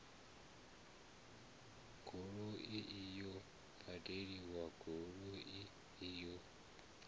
goloi iyo badani goloi iyo